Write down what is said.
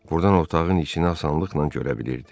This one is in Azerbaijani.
Buradan otağın içinə asanlıqla görə bilirdi.